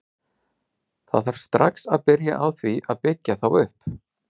Það þarf strax að byrja á því að byggja þá upp.